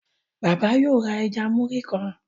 Bàbá yóò rá ẹja Muri kán.